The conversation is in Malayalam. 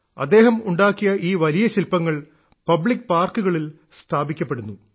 അദ്ദേഹം ഉണ്ടാക്കിയ ഈ വലിയ ശില്പങ്ങൾ പബ്ലിക് പാർക്കുകളിൽ സ്ഥാപിക്കപ്പെടുന്നു